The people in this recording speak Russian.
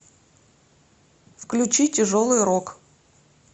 включи тяжелый рок